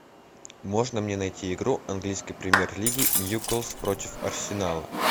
можно мне найти игру английской премьер лиги ньюкасл против арсенала